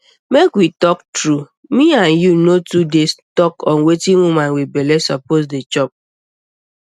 make we talk tru me and you no too dey talk on wetin woman wit belle suppose dey chop